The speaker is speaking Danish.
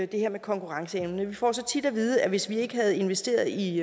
det her med konkurrenceevne vi får så tit at vide at hvis vi ikke havde investeret i